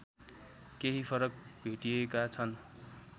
केही फरक भेटिएका छन